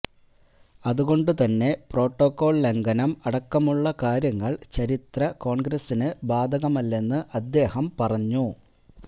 അതുകൊണ്ടുതന്നെ പ്രോട്ടോക്കോള് ലംഘനം അടക്കമുള്ള കാര്യങ്ങള് ചരിത്ര കോണ്ഗ്രസിന് ബാധകമല്ലെന്ന് അദ്ദേഹം പറഞ്ഞു